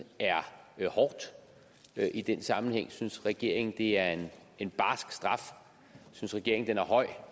er hårdt i den sammenhæng synes regeringen det er en en barsk straf synes regeringen den er høj